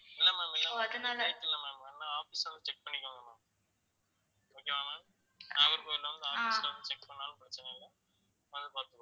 இல்ல ma'am fake இல்ல ma'am வேணுனா office வந்து check பண்ணிக்கோங்க ma'am okay வா ma'am நாகர்கோவில் வந்து check பண்ணாலும் பிரச்சனை இல்லை வந்து பாத்துக்கோங்க